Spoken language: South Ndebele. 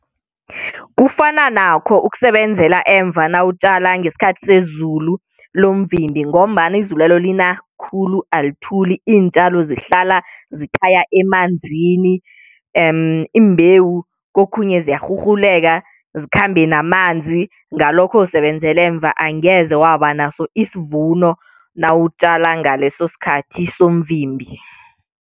Kufana nakho ukusebenzela emva nawutjala ngesikhathi sezulu lomvimbi ngombana izulwelo lina khulu alithuli iintjalo zihlala zithaya emanzini imbewu kokhunye ziyarhurhuleka zikhambe namanzi ngalokho usebenzela emva angeze waba naso isvuno nawutjala ngaleso sikhathi somvimbi.